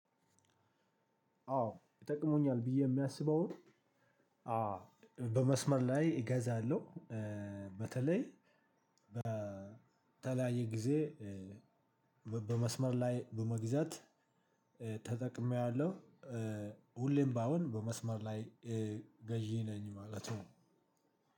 አዎ ይጠቅሙኛል ብዬ የማስበውን። አዎ በመስመር ላይ እገዛለሁ። በተለይ በተለያየ ጊዜ። በመስመር ላይ በመግዛት ተጠቅሜያለሁ። ሁሌም ባይሆን በመስመር ላይ ገዢ ነኝ ማለቱ